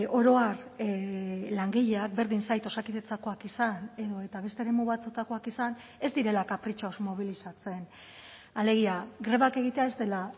oro har langileak berdin zait osakidetzakoak izan edota beste eremu batzuetakoak izan ez direla kapritxoz mobilizatzen alegia grebak egitea ez dela